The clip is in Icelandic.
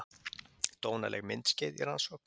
Dónaleg myndskeið í rannsókn